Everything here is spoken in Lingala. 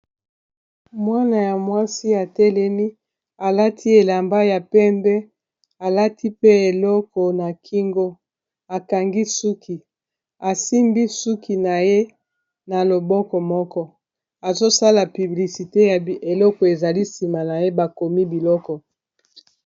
Mwana ya mwasi atelemi alati elamba ya pembe alati pe eloko na kingo akangi suki asimbi suki na ye na loboko moko azosala piblisite ya eloko ezali nsima na ye bakomi biloko